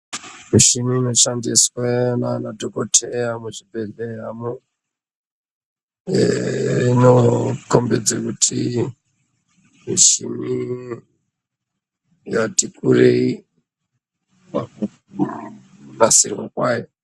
Mishini inoshandiswa ndana dhokodheya muzvibhehleyamo imo kombidze kuti mishini yati kurei pakunasirwa kwayo.